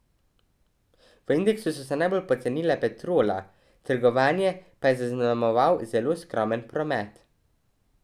V indeksu so se najbolj pocenile Petrola, trgovanje pa je zaznamoval zelo skromen promet.